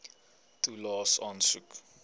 toelaes aansoek